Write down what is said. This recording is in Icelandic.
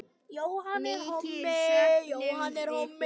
Mikið söknum við þín.